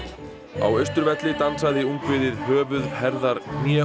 á Austurvelli dansaði ungviðið höfuð herðar hné og